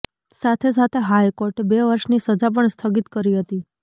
સાથે સાથે હાઇકોર્ટે બે વર્ષની સજા પણ સ્થગિત કરી હતી